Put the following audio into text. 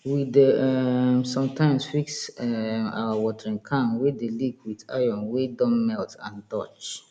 we dey um sometimes fix um our watering can wey d leek with iron wey don melt and torch